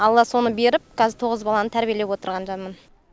алла соны беріп қазір тоғыз баланы тәрбиелеп отырған жанмын